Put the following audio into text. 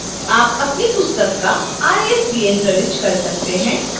आप अपनी पुस्तक का isbn प्रविष्ट कर सकते हैं